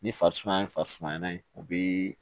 Ni farisumaya ye farisumayɛlɛ ye o bɛ